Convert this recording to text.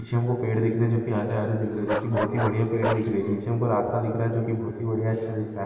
नीचे हमको पेड़ दिख रहे जो की हरे हरे दिख रहे जो की बहुत ही बड़िया पेड़ दिख रही नीचे हमको रास्ता दिख रहा है जो की बहुत ही बड़िया अच्छा दिख रहा।